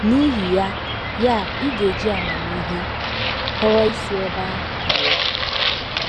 N’ihi ya, ya, ị ga - eji amamihe họrọ isi ebe ahụ pụọ.